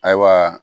Ayiwa